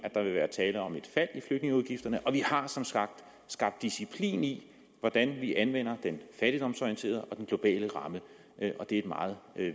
vil være tale om et fald i flygtningeudgifterne og vi har som sagt skabt disciplin i hvordan vi anvender den fattigdomsorienterede og den globale ramme og det er et meget